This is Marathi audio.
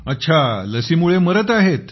अच्छा लसीमुळे मरत आहेत